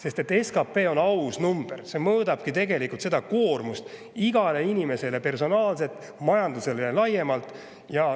SKP on aus number, mis tegelikult koormust igale inimesele personaalselt, majandusele ja laiemalt.